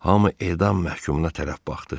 Hamı edam məhkumuna tərəf baxdı.